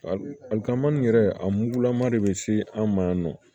Ali kamamani yɛrɛ a mugulama de bɛ se an ma yan nɔ